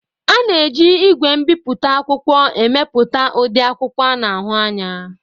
A na-eji igwe mbiputa akwụkwọ emepụta ụdị akwụkwọ a na ahu anya.